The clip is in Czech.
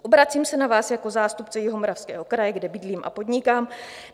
Obracím se na vás jako zástupce Jihomoravského kraje, kde bydlím a podnikám.